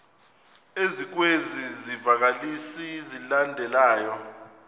ezikwezi zivakalisi zilandelayo